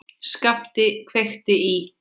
SKAPTI KVEIKTI Í